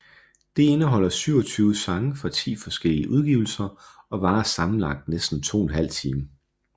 Det indeholder 27 sange fra ti forskellige udgivelser og varer sammenlagt næsten 2½ time